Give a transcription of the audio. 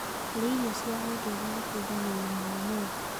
Kũrĩa irio cia ũndũĩre gũteĩthagĩa ũgima wa mwĩrĩ